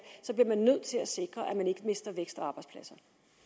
bliver man nødt til at sikre at man ikke mister vækst og arbejdspladser